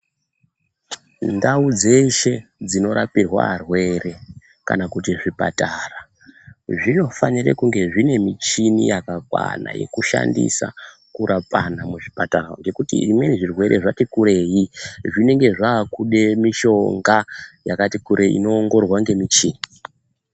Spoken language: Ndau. Ndau dzeshe dzinorapirwa arwere kana kuti zvipatara, zvinofanire kunge zvine michini yakakwana kushandisa kurapana muzvipatara, ngekuti imweni, zvirwere zvati kurei , zvinenge zvaakuda mishonga yakati kurei, inoongororwa ngemichini.